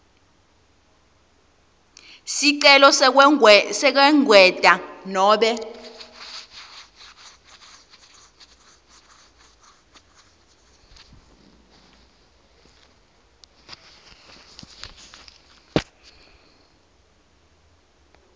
sicelo sekwengetwa nobe